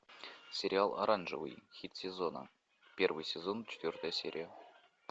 сериал оранжевый хит сезона первый сезон четвертая серия